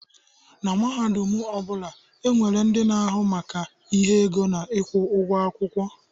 Na mahadum ọ bụla, e nwere ndị na-ahụ maka ihe ego na ịkwụ ụgwọ akwụkwọ.